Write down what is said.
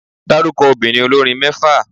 Dárúkọ obìnrin olórin mẹ́fà.